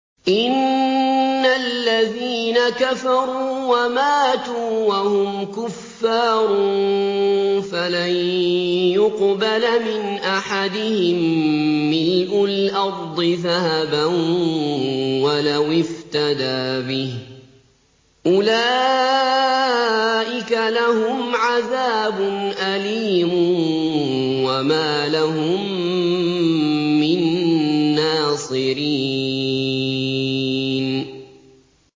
إِنَّ الَّذِينَ كَفَرُوا وَمَاتُوا وَهُمْ كُفَّارٌ فَلَن يُقْبَلَ مِنْ أَحَدِهِم مِّلْءُ الْأَرْضِ ذَهَبًا وَلَوِ افْتَدَىٰ بِهِ ۗ أُولَٰئِكَ لَهُمْ عَذَابٌ أَلِيمٌ وَمَا لَهُم مِّن نَّاصِرِينَ